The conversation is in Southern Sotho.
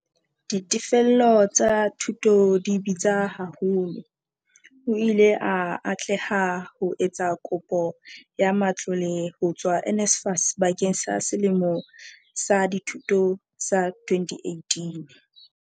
"Ditefello tsa dithuto di bitsa haholo. O ile a atleha ho etsa kopo ya matlole ho tswa NSFAS bakeng sa selemo sa dithuto sa 2018."